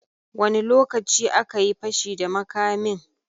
Wani lokaci akayi fashi da makamin?